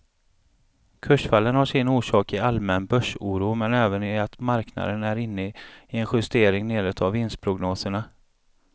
Kursfallen har sin orsak i allmän börsoro men även i att marknaden är inne i en justering nedåt av vinstprognoserna.